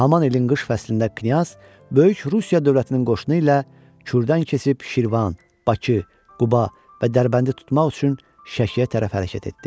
Həmin ilin qış fəslində knyaz böyük Rusiya dövlətinin qoşunu ilə Kürdən keçib Şirvan, Bakı, Quba və Dərbəndi tutmaq üçün Şəkiyə tərəf hərəkət etdi.